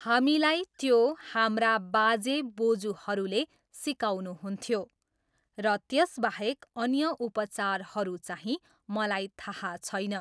हामीलाई त्यो हाम्रा बाजे बोजुहरूले सिकाउनुहुन्थ्यो र त्यसबाहेक अन्य उपाचारहरू चाहिँ मलाई थाहा छैन।